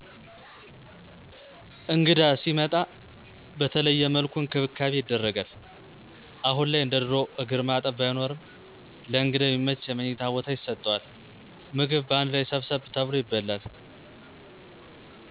እንግዳ ሲመጣ በተለየ መልኩ እንክብካቤ ይደረጋል። አሁን ላይ እንደ ድሮው እግር ማጠብ ባይኖረውም ለእንግዳው የሚመች የመኝታ ቦታ ይሰጠዋል። ምግብ በአንድ ላይ ሰብሰብ ተብሎ ይበላል።